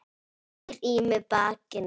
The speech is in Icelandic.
Snýr í mig bakinu.